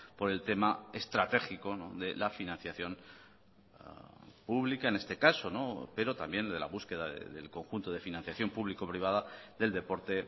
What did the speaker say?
por el tema estratégico de la financiación pública en este caso pero también de la búsqueda del conjunto de financiación público privada del deporte